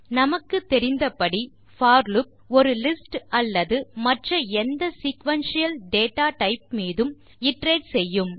நமக்கு தெரிந்தபடி for loop ஒரு லிஸ்ட் அல்லது மற்ற எந்த சீக்வென்ஷியல் டேட்டா டைப் மீதும் இட்டரேட் செய்யும்